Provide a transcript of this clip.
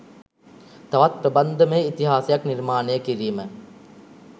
තවත් ප්‍රබන්ධමය ඉතිහාසයක් නිර්මාණය කිරීම